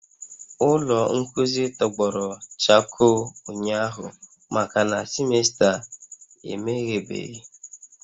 Ụlọ nkuzi tọgbọrọ chakoo ụnyahụ makana semester emeghebeghị